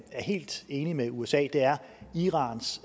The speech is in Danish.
helt enig med usa er at irans